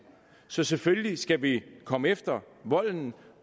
så selvfølgelig skal vi komme efter volden